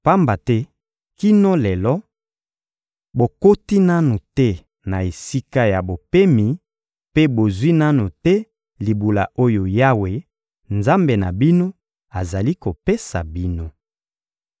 Pamba te kino lelo, bokoti nanu te na esika ya bopemi mpe bozwi nanu te libula oyo Yawe, Nzambe na bino, azali kopesa bino.